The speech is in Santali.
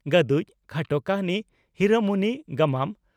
"ᱜᱟᱹᱫᱩᱡ" (ᱠᱷᱟᱴᱚ ᱠᱟᱹᱦᱱᱤ) ᱦᱤᱨᱟᱹ ᱢᱩᱱᱤ (ᱜᱟᱢᱟᱢ)